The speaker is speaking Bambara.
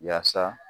Yaasa